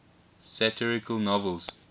satirical novels